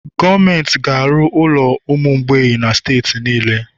Gọọmenti ga-arụ ụlọ ụmụ mgbei na steeti niile